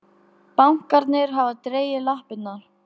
Bankarnir hafa dregið lappirnar